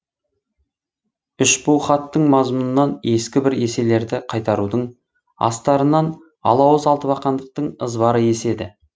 үшбу хаттың мазмұнынан ескі бір еселерді қайтарудың астарынан алауыз алтыбақандықтың ызбары еседі